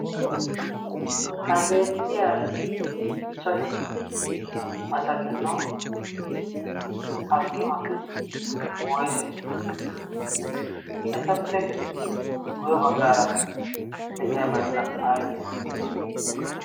ha beettiya ichchashu asa giddon attumati woyse? etappe guye baggaara de'iyaabaikka aybe?